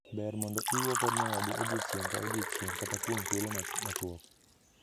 Ber mondo iwuo kod nyawadu odiechieng’ ka odiechieng, kata kuom thuolo machuok.